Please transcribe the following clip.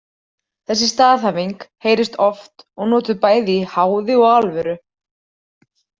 Þessi staðhæfing heyrist oft og notuð bæði í háði og alvöru.